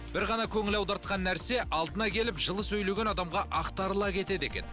бір ғана көңіл аудартқан нәрсе алдына келіп жылы сөйлеген адамға ақтарыла кетеді екен